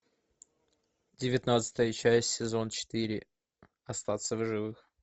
девятнадцатая часть сезон четыре остаться в живых